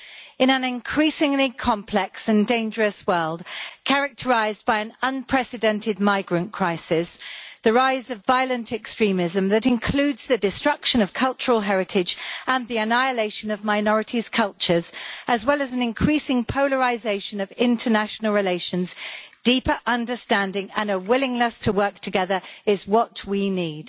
In an increasingly complex and dangerous world characterised by an unprecedented migrant crisis and the rise of violent extremism which includes the destruction of cultural heritage and the annihilation of minorities' cultures as well as an increasing polarisation of international relations deeper understanding and a willingness to work together is what we need.